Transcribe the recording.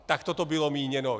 Takto to bylo míněno.